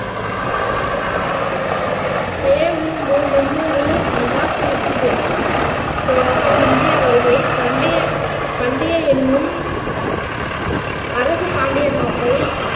பேவும் முந்நூறு மெகாசீட் பே பேரரசு இந்திய வருகை பண்டைய பண்டைய எண்ணும் அரசு பாண்டிய நாட்டை